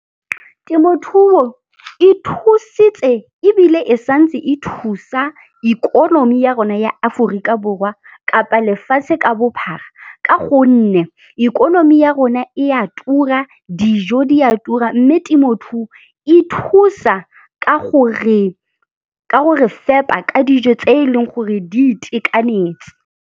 Temothuo e thusitse ebile e santse e thusa ikonomi ya rona ya Aforika Borwa kapa lefatshe ka bophara ka gonne ikonomi ya rona e a tura, dijo di a tura, mme temothuo e thusa ka gore fepa ka dijo tse e leng gore di itekanetse.